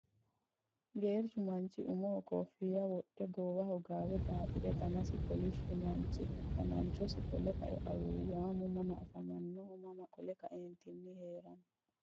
Geerchu manichi umoho kofiyya wodhe goowaho gaawe xaaxire danasi kolishshu manichu dananchosi qole kae awuuwaamu mama afamanoho mama qole kaentini herano.